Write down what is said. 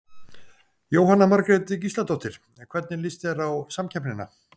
Jóhanna Margrét Gísladóttir: Hvernig líst þér á samkeppnina?